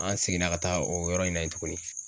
An seginna ka taa o yɔrɔ in na yen tuguni.